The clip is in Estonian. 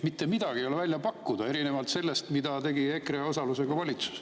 Mitte midagi ei ole välja pakkuda, erinevalt sellest, mida tegi EKRE osalusega valitsus.